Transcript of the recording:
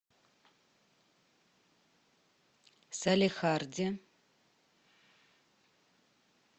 салехарде